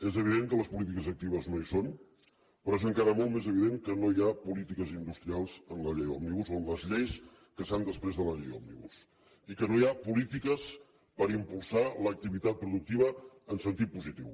és evident que les polítiques actives no hi són però és encara molt més evident que no hi ha polítiques industrials en la llei òmnibus o en les lleis que s’han desprès de la llei òmnibus i que no hi ha polítiques per impulsar l’activitat productiva en sentit positiu